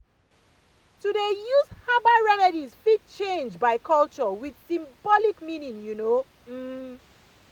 to dey use herbal remedies fit change by culture with symbolic meaning you know um